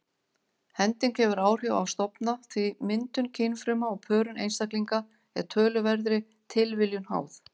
Hending hefur áhrif á stofna því myndun kynfruma og pörun einstaklinga er töluverðri tilviljun háð.